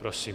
Prosím.